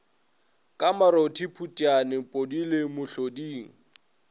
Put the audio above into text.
ka marothi phutiane podile mohloding